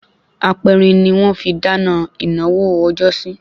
Aperin ni wọ́n fi dáná ìnáwó ọjọ́sí